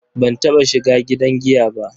Ban taɓa shiga gidan giya ba.